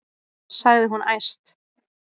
sagði hún æst.